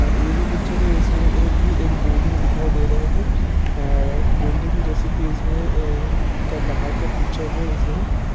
यह पिक्चर में ये भी बिल्डिंग दिखाई दे रहा है और बिल्डिंग जैसे की इसमें आ का बाहेर का पिक्चर है इसमें।